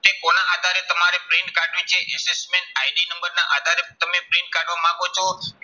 તે કોના આધારે તમારે print કાઢવી છે assessment ID નંબરના આધારે તમે print કાઢવા માંગો છો